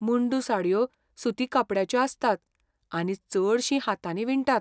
मुंडू साडयो सुती कपडयाच्यो आसतात आनी चडश्यो हातांनी विणटात.